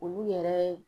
Olu yɛrɛ